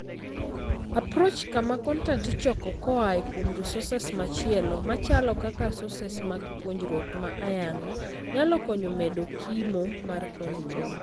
Approach kama kontent ichoko koaaa kuom sources machielo, machalo kaka sources mag puonjruok ma ayanga, nyalo konyo medo kimo mar kontent.